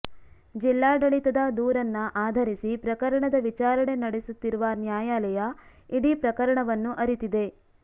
ಜಿಲ್ಲಾಡಳಿತದ ದೂರನ್ನ ಆಧರಿಸಿ ಪ್ರಕರಣದ ವಿಚಾರಣೆ ನಡೆಸುತ್ತಿರುವ ನ್ಯಾಯಾಲಯ ಇಡೀ ಪ್ರಕರಣವನ್ನು ಅರಿತಿದೆ